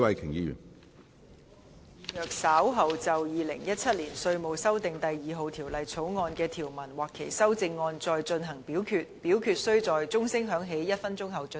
主席，我動議若稍後就《2017年稅務條例草案》所提出的議案或修正案再進行點名表決，表決須在鐘聲響起1分鐘後進行。